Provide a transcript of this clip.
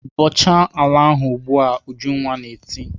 "Bọchaa ala ahụ ugbu a!" Ujunwa na-eti.